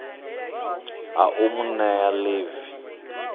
ha u mu nea ḽivi